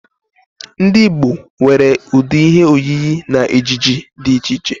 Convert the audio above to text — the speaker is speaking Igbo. Ndi Igbo nwere udi ihe oyiyi na ejiji di iche iche